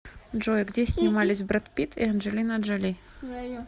джой где снимались бред питт и анджелина джоли